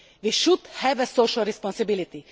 We should have social responsibility.